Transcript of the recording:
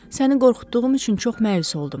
Səni qorxutduğum üçün çox məyus oldum.